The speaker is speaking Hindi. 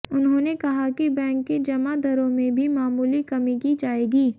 उन्होंने कहा कि बैंक की जमा दरों में भी मामूली कमी की जाएगी